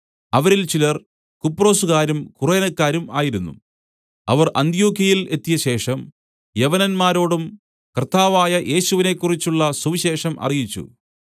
അവരിൽ ചിലർ കുപ്രൊസ്കാരും കുറേനക്കാരും ആയിരുന്നു അവർ അന്ത്യൊക്യയിൽ എത്തിയശേഷം യവനന്മാരോടും കർത്താവായ യേശുവിനെക്കുറിച്ചുള്ള സുവിശേഷം അറിയിച്ചു